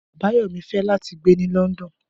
Abayomi fẹ lati gbe ni London